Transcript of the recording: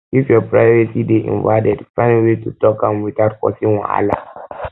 if your privacy dey invaded find way to talk am without causing wahala